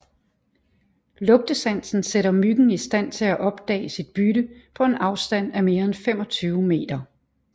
Lugtesansen sætter myggen i stand til opdage sit bytte på en afstand af mere end 25 meter